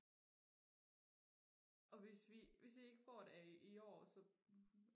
og hvis vi hvis vi ikke får det i år så